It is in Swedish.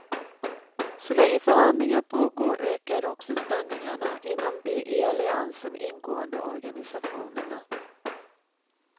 Så länge förhandlingar pågår ökar också spänningarna inom de i alliansen ingående organisationerna.